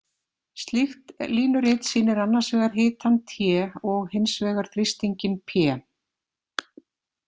Slíkt línurit sýnir annars vegar hitann T og hins vegar þrýstinginn p.